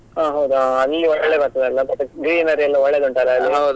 ಹಾ ಹೌದಾ ಆ ಅಲ್ಲಿಯೇ ಒಳ್ಳೇದಾಗ್ತದಲ್ಲ but greenery ಎಲ್ಲ ಒಳ್ಳೆದುಂಟಲ್ಲ ಅಲ್ಲಿ.